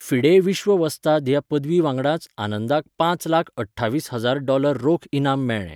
FIDE विश्र्व वस्ताद ह्या पदवी वांगडाच आनंदाक पांच लाख अठ्ठावीस हजार डॉलर रोख इनाम मेळ्ळें.